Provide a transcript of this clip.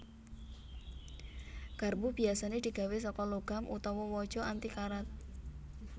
Garpu biyasané digawé saka logam utawa waja anti karat